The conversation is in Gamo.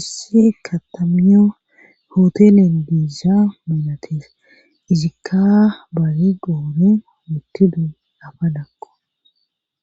issi katamyo hootelen diizza melates izikka bayi goori muttidu lafa dakko